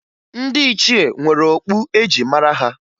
Ndị ichie nwere okpu e ji mara ha